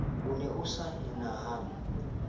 o ne a sa enahane